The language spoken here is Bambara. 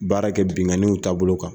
Baara kɛ binkaniw taabolo kan.